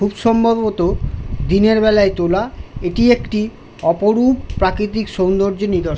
খুব সম্ববত দিনের বালাই তোলা এইটি একটি অপরূপ প্রাকিতিক সৌন্দর্যে নিদর --